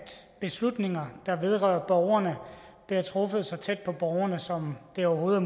beslutninger der vedrører borgerne bliver truffet så tæt på borgerne som det overhovedet